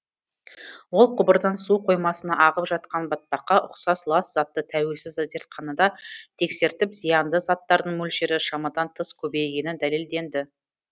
ол құбырдан су қоймасына ағып жатқан батпаққа ұқсас лас затты тәуелсіз зертханада тексертіп зиянды заттардың мөлшері шамадан тыс көбейгені дәлелденді